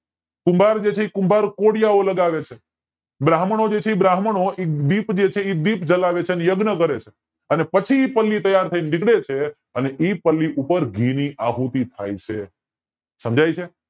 કુંભાર જે છે કુંભાર કોડીયા લગાવે છે બ્રાહ્મણો જે છે બ્રાહ્મણો એ દીપ જે છે દીપ જલાવે છે અને યજ્ઞ કરે છે અને પછી ઈ પલ્લી તૈયાર થાય ને નીકળે છે અને ઈ પલ્લી ઉપર ઘી ની આહુતિ થાય છે સમજાય છે